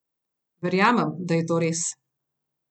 Verjamem, da je to res.